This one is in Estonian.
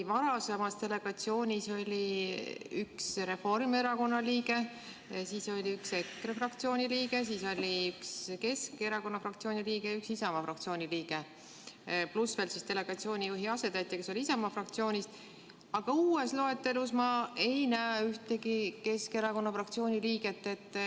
Varasemas delegatsioonis oli üks Reformierakonna liige, üks EKRE fraktsiooni liige, siis oli üks Keskerakonna fraktsiooni liige ja üks Isamaa fraktsiooni liige pluss veel delegatsiooni juhi asetäitja, kes oli Isamaa fraktsioonist, aga uues loetelus ma ei näe ühtegi Keskerakonna fraktsiooni liiget.